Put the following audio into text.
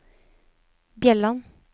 Bjelland